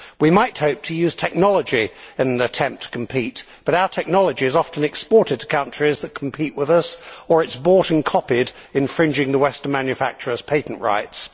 We might hope to use technology in an attempt to compete, but our technology is often exported to countries that compete with us, or is bought and copied infringing the western manufacturers' patent rights.